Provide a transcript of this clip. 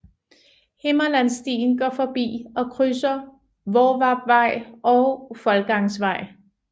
Himmerlandsstien går forbi og krydser Hvorvarpvej og Foldgangsvej